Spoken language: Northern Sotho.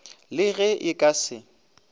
le ge e ka se